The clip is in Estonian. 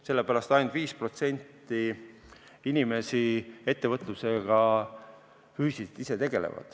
Sellepärast ainult 5% inimesi ettevõtlusega füüsiliselt tegelebki.